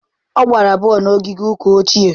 Ọ gbara bọọlụ na ogige ụka ochie.